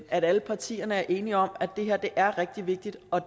at alle partier er enige om at det er rigtig vigtigt og